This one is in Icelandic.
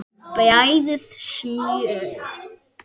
Bræðið smjör.